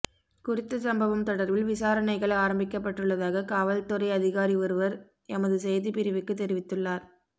குறித்த சம்பவம் தொடர்பில் விசாரணைகள் ஆரம்பிக்கப்பட்டுள்ளதாக காவற்துறை அதிகாரி ஒருவர் எமது செய்தி பிரிவுக்கு தெரிவித்துள்ளார்